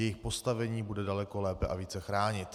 Jejich postavení bude daleko lépe a více chránit.